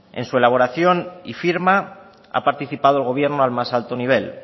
en su elaboración y firma ha participado el gobierno al más alto nivel